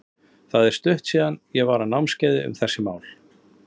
Það er stutt síðan að ég var á námskeiði um þessi mál.